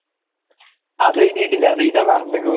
അതേയ്‌തിട്ടില്ല അതെഴുതാൻ മറന്നുകുണ്